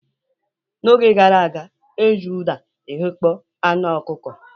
N'oge gara aga e ji ụda eghekpo anụ ọkụkọ.